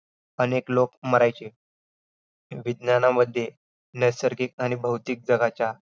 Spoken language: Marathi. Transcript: अनेक लोक मरायचे. विज्ञानामध्ये नैसर्गिक आणि भौतिक जगाच्या